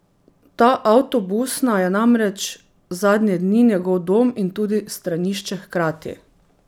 Ta avtobusna je namreč zadnje dni njegov dom in tudi stranišče hkrati.